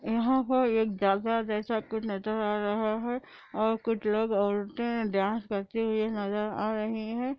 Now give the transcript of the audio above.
यहां पर कुछ जलसा जैसा नजर आ रहा है और कुछ लोग औरतों डांस कर करते हुए नजर आ रही है |